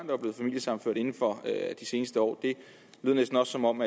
var blevet familiesammenført inden for de seneste år det lød næsten også som om